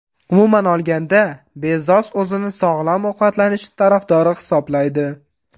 Umuman olganda, Bezos o‘zini sog‘lom ovqatlanish tarafdori hisoblaydi.